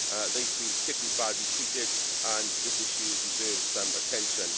They feel particularly badly treated, and this issue deserves some attention.